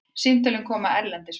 Símtölin koma erlendis frá.